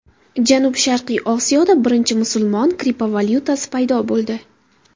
Janubi-sharqiy Osiyoda birinchi musulmon kriptovalyutasi paydo bo‘ldi.